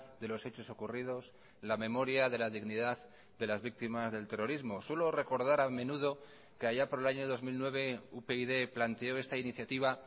de los hechos ocurridos la memoria de la dignidad de las víctimas del terrorismo suelo recordar a menudo que allá por el año dos mil nueve upyd planteó esta iniciativa